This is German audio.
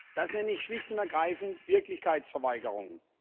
Das nenne ich schlicht und ergreifend Wirklichkeitsverweigerung.